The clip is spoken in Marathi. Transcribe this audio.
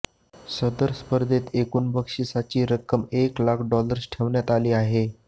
सदर स्पर्धेत एकूण बक्षिसाची रक्कम एक लाख डॉलर्स ठेवण्यात आली आहे